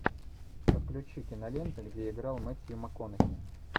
подключи киноленты где играл мэтью макконахи